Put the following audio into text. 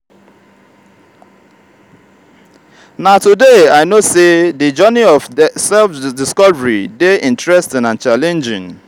na today i know sey di journey of self-discovery dey interesting and challenging.